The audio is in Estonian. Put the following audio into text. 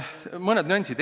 Mõned nüansid.